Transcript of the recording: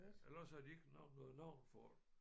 Eller også har de ikke nævnt noget navn for det